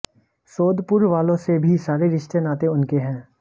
सोदपुर वालों से भी सारे रिश्ते नाते उनके हैं